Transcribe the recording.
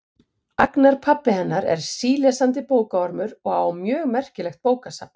Agnar pabbi hennar er sílesandi bókaormur og á mjög merkilegt bókasafn.